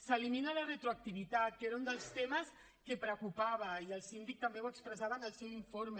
s’elimina la retroactivitat que era un dels temes que preocupava i el síndic també ho expressava en el seu informe